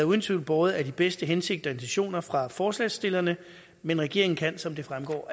uden tvivl båret af de bedste hensigter og intentioner fra forslagsstillerne men regeringen kan som det fremgår